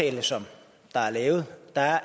det er